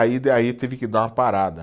Aí da, aí tive que dar uma parada.